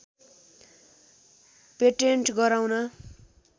patent गराउन